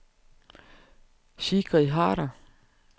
Sigrid Harder